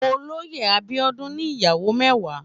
Ólóyé Abiodun ni iyàwó mèwá